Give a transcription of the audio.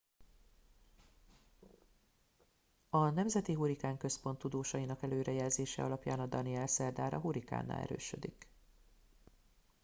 a nemzeti hurrikán központ tudósainak előrejelzése alapján a danielle szerdára hurikánná erősödik